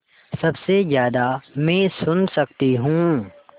सबसे ज़्यादा मैं सुन सकती हूँ